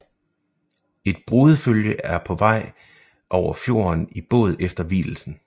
Et brudefølge er på vej over fjorden i båd efter vielsen